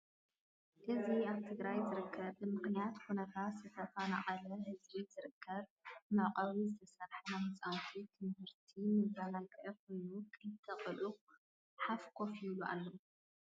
እዚ አብ ትግራይ ዝርከብ ብምኽንያት ኩናት ዝተፈናቀለ ህዝቢ ዝርከብ መዐቀዊ ዝተሰርሐ ናይ ህፃና ትምህርቲን መዛናግዕን ኮይኑ ክልተ ቆልዑ ሐፍ ኮፍ ይብሉ አለው።